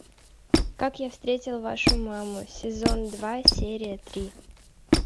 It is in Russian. как я встретил вашу маму сезон два серия три